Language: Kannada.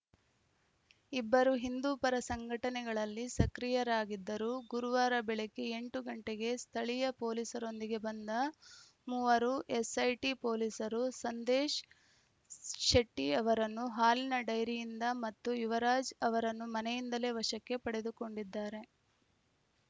ಇಬ್ಬರೂ ಹಿಂದೂ ಪರ ಸಂಘಟನೆಗಳಲ್ಲಿ ಸಕ್ರಿಯರಾಗಿದ್ದರು ಗುರುವಾರ ಬೆಳಿಗ್ಗೆ ಎಂಟು ಗಂಟೆಗೆ ಸ್ಥಳೀಯ ಪೊಲೀಸರೊಂದಿಗೆ ಬಂದ ಮೂವರು ಎಸ್‌ಐಟಿ ಪೊಲೀಸರು ಸಂದೇಶ್‌ ಶೆಟ್ಟಿಅವರನ್ನು ಹಾಲಿನ ಡೈರಿಯಿಂದ ಮತ್ತು ಯುವರಾಜ್‌ ಅವರನ್ನು ಮನೆಯಿಂದಲೇ ವಶಕ್ಕೆ ಪಡೆದುಕೊಂಡಿದ್ದಾರೆ